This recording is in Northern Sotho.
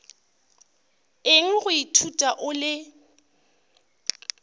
eng go ithuta o le